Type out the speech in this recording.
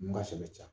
N ka sɛbɛ